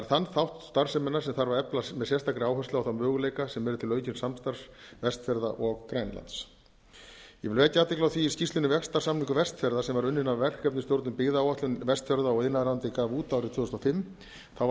þann þátt starfseminnar þarf að efla með sérstakri áherslu á þá möguleika sem eru til aukins samstarfs vestfjarða og grænlands ég vil vekja athygli á því í skýrslunni samningur vestfjarða sem var unnin af verkefnisstjórnum byggðaáætlun vestfjarða og iðnaðarráðuneytið gaf út árið tvö þúsund og fimm þá var